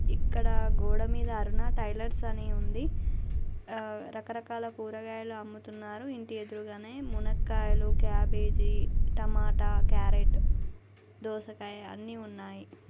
ఇక్కడ గోడ మిధా అరుణ టైలర్స్ అని ఉంది రకరకాల కూరగాయలు అమ్ముతున్నారు ఇంటి ఎదురగానే మునకాయలు కాబేజీ టొమాట క్యారెట్ దోసకాయ అన్నీ ఉన్నాయి.